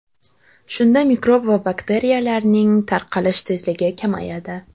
Shunda mikrob va bakteriyalarning tarqalish tezligi kamayadi.